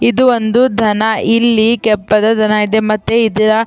ಇದು ಒಂದು ದನ ಇಲ್ಲಿ ಕೆಪ್ಪದ್ ದನ ಇದೆ ಮತ್ತೆ ಇದರ.